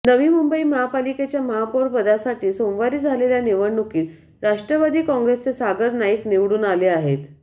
नवी मुंबई महापालिकेच्या महापौरपदासाठी सोमवारी झालेल्या निवडणूकीत राष्ट्रवादी काँग्रेसचे सागर नाईक निवडून आले आहेत